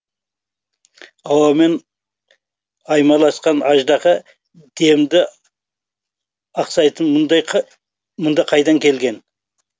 ауамен аймаласқан аждаһа демді ақсайтын мұнда қайдан келген